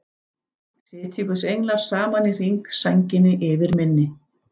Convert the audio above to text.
Sitji guðs englar saman í hring, sænginni yfir minni.